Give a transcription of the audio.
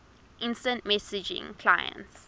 instant messaging clients